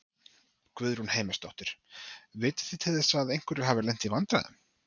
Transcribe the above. Guðrún Heimisdóttir: Vitið þið til þess að einhverjir hafi lent í vandræðum?